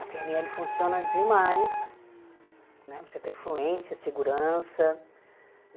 A pê ene ele funciona demais, né, precisa ter fluência, segurança, né.